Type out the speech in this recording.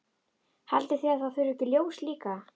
Haldið þið að það þurfi ekki ljós líka?